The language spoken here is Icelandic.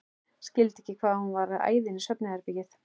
Skildi ekki hvað hún var að æða inn í svefnherbergi.